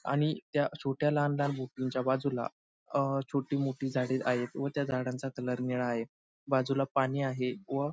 आणि त्या छोट्या लहान लहान बुकिंग च्या बाजूला अह छोटी मोठी झाडे आहेत व त्या झाडांचा कलर निळा आहे बाजूला पाणी आहे व --